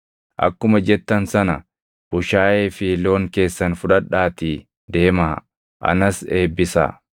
Akkuma jettan sana bushaayee fi loon keessan fudhadhaatii deemaa; anas eebbisaa.”